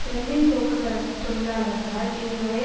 Berlin போக்குவரத்து தொழிலாளர்களால் இதுவரை